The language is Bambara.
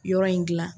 Yɔrɔ in gilan